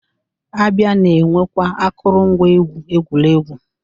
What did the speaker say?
A bịa na-enwekwa akụrụngwa egwu egwuregwu.